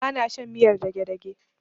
Ba na shan riyar dagedage.